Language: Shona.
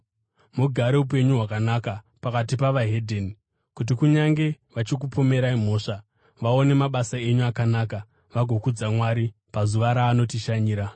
Mugare upenyu hwakanaka pakati pavahedheni kuti, kunyange vachikupomerai mhosva, vaone mabasa enyu akanaka vagokudza Mwari pazuva raanotishanyira.